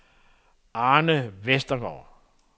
Arne Vestergaard